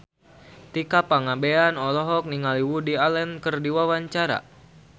Tika Pangabean olohok ningali Woody Allen keur diwawancara